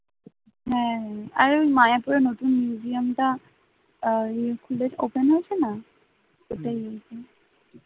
মায়াপুরির নতুন museum টা আর এই খুলে open হয়েছে না